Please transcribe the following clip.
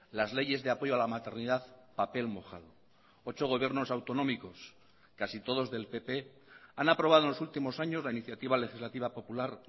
las leyes de apoyo a la maternidad papel mojado ocho gobiernos autonómicos casi todos del pp han aprobado en los últimos años la iniciativa legislativa popular